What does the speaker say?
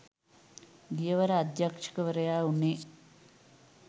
ගියවර අධ්‍යක්ෂකවරයා වුණේ